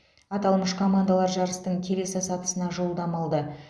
аталмыш командалар жарыстың келесі сатысына жолдама алды